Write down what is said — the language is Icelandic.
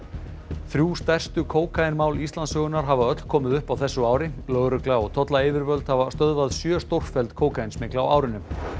þrjú stærstu kókaínmál Íslandssögunnar hafa öll komið upp á þessu ári lögregla og tollayfirvöld hafa stöðvað sjö stórfelld kókaínsmygl á árinu